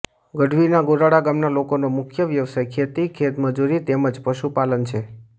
ગઢવીના ગોરાડા ગામના લોકોનો મુખ્ય વ્યવસાય ખેતી ખેતમજૂરી તેમ જ પશુપાલન છે